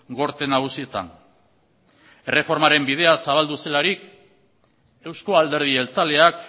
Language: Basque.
gorte nagusietan erreformaren bidea zabaldu zelarik euzko alderdi jeltzaleak